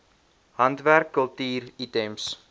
handwerk kultuur items